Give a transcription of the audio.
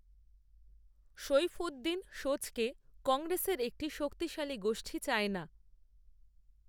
সৈফূদ্দিন সোজকে, কংগ্রেসের, একটি শক্তিশালী গোষ্ঠী চায় না